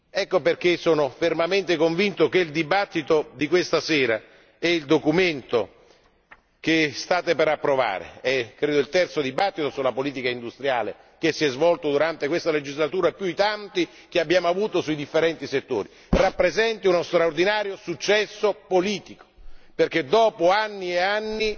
Ecco perché sono fermamente convinto che il dibattito di questa sera e il documento che state per approvare credo che sia il terzo dibattito sulla politica industriale che si svolge durante questa legislatura, più i tanti che abbiamo avuto sui differenti settori rappresentino uno straordinario successo politico perché finalmente, dopo anni e anni,